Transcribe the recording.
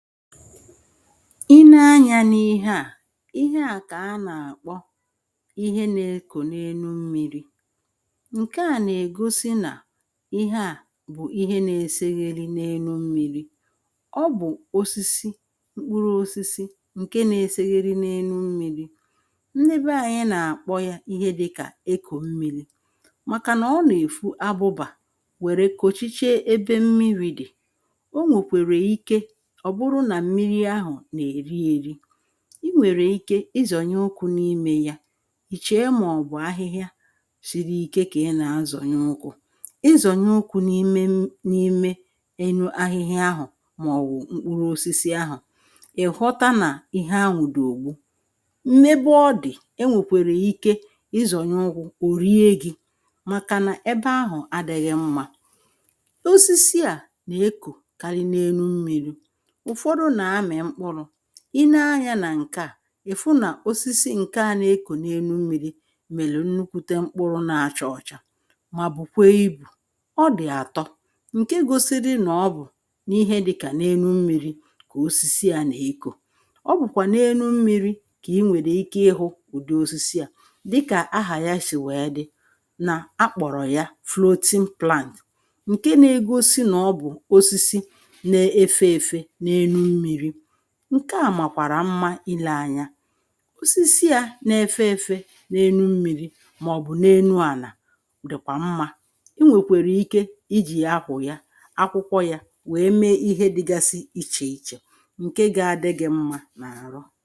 Ị ne anyā n’ihe à ihe à kà anà-àkpọ ihe na-ekò n’enu mmīrī ǹkè a nà-ègosi nà ihe à bụ̀ ihe na-esegheri n’enu mmīrī ọ bụ̀ osisi mkpụrụ osisi ǹke na-esegheri n’enu mmīrī ndị be anyị nà-àkpọ yā ihe dị kà ekò mmīlī màkà nà ọ nà-èfu abụbà wère kòchiche ebe mmirī dị̀ o nwòkwèrè ike ọ̀ bụrụ nà mmiri ahụ̀ nà-èri eri ị nwèrè ike ị zọ̀nye ukwū n’imē ya ị̀ chèe màọ̀bụ̀ ahịhịa shiri ike kà ị nà-azọ̀nye ukwū ị zònye ukwū n’ime mm n’ime enu ahịhịa ahụ̀ màọ̀wụ̀ mkpụrụosisi ahụ̀ ị̀ ghọta nà ihe ahụ̀ dị̀ ògbu n’ebe ọ dị̀ e nwèkwère ike ị zọ̀nye ukwū o rie gị màkà nà ebe ahụ̀ adị̄ghị́ mmā osisi à nà-ekòkari n’enu mmīrī ụ̀fọdụ nà-amị̀ mkpụrụ̄ ị ne anyā nà ǹkè a, ị̀ fụ na osisi ǹkè a na-ekò n’enu mmīrī mèrè nnukwute mkpụrụ na-acha ọcha mà bùkwe ibù ọ dị̀ àtọ ǹke gosi gi nà ọ bụ̀ n’ihe dị kà n’enu mmīrī kà osisi à nà-ekò ọ bụ̀kwà n’enu mmīrī kà ị nwèrè ike ịhụ̄ ụ̀dị osisi à dị kà ahà ya sì wèe dị nà akpọ̀rọ̀ ya floating plant ǹke na-egosi nà ọ bụ̀ osisi na-efe efe n’enu mmīrí ǹkè a màkwàrà mma ilē anya osisi ya na-efe efe n’enu mmīrí màọ̀bụ̀ na-enu ànà dị̀kwà mmā ị nwèkwèrè ike ijì akwụ̀ ya akwụkwọ yā wèe me ihe dịgasi ichè ichè ǹke ga-adị gị mmā n’àrụ